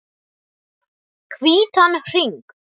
Hvítan hring.